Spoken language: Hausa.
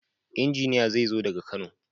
injiniya zezo daga kano.